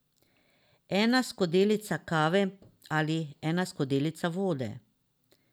Ena skodelica kave ali ena skodelica vode ...